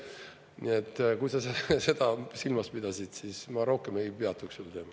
Nii et, kui sa seda silmas pidasid, siis ma rohkem ei peatuks sel teemal.